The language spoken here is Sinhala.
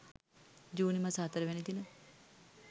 ජුනි මස 04 වැනි දින